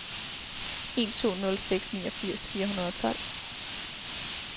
en to nul seks niogfirs fire hundrede og tolv